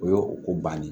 O y'o ko bannen ye